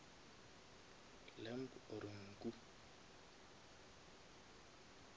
lamb or nku